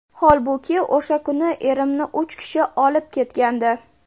Holbuki o‘sha kuni erimni uch kishi olib ketgandi.